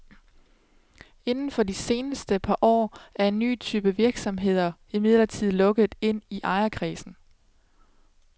Inden for de seneste par år er en ny type virksomheder imidlertid lukket ind i ejerkredsen.